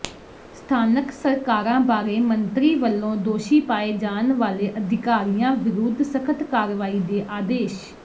ਸਥਾਨਕ ਸਰਕਾਰਾਂ ਬਾਰੇ ਮੰਤਰੀ ਵੱਲੋਂ ਦੋਸ਼ੀ ਪਾਏ ਜਾਣ ਵਾਲੇ ਅਧਿਕਾਰੀਆਂ ਵਿਰੁੱਧ ਸਖਤ ਕਾਰਵਾਈ ਦੇ ਆਦੇਸ਼